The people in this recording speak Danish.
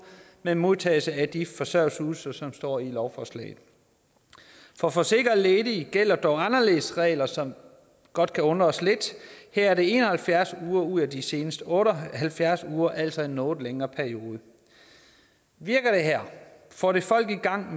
med modtagelse af de forsørgelsesydelser som står i lovforslaget for forsikrede ledige gælder dog anderledes regler som godt kan undre os lidt her er det en og halvfjerds uger ud af de seneste otte og halvfjerds uger altså en noget længere periode virker det her får det folk i gang